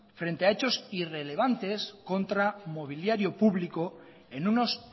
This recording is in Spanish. frente a hechos irrelevantes contra mobiliario público en unos